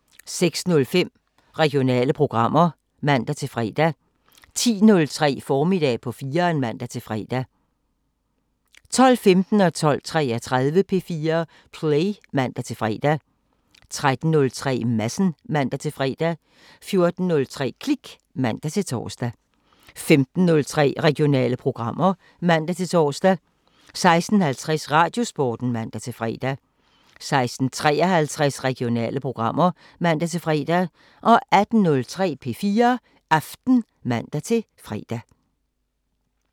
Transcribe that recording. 06:05: Regionale programmer (man-fre) 10:03: Formiddag på 4'eren (man-fre) 12:15: P4 Play (man-fre) 12:33: P4 Play (man-fre) 13:03: Madsen (man-fre) 14:03: Klik (man-tor) 15:03: Regionale programmer (man-tor) 16:50: Radiosporten (man-fre) 16:53: Regionale programmer (man-fre) 18:03: P4 Aften (man-fre)